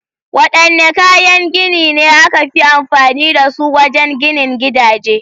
Wadanne kayan gini ne aka fi amfani da su wajen ginin gidaje?